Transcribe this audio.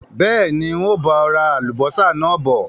Bẹ́ẹ̀ni, ń ó bọ̀ ra Àlùbọ́sà náà bọ̀